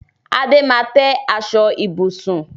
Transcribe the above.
Adé máa tẹ́ aṣọ ibùsùn